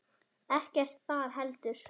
Ekkert þar heldur.